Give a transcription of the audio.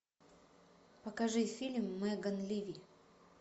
покажи фильм меган ливи